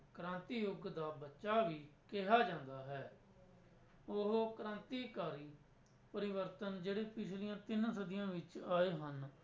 ਕ੍ਰਾਂਤੀ ਯੁੱਗ ਦਾ ਬੱਚਾ ਵੀ ਕਿਹਾ ਜਾਂਦਾ ਹੈ ਉਹ ਕ੍ਰਾਂਤੀਕਾਰੀ ਪਰਿਵਰਤਨ ਜਿਹੜੇ ਪਿੱਛਲੀਆਂ ਤਿੰਨ ਸਦੀਆਂ ਵਿੱਚ ਆਏ ਹਨ।